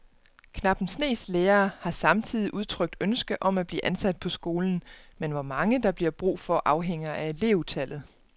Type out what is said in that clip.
Knap en snes lærere har samtidig udtrykt ønske om at blive ansat på skolen, men hvor mange der bliver brug for afhænger af elevtallet.